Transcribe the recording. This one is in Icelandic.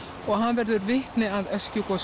og hann verður vitni að